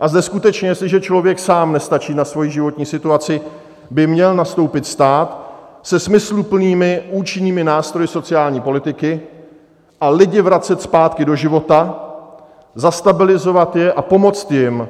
A zde skutečně, jestliže člověk sám nestačí na svojí životní situaci, by měl nastoupit stát, se smysluplnými, účinnými nástroji sociální politiky a lidi vracet zpátky do života, zastabilizovat je a pomoci jim,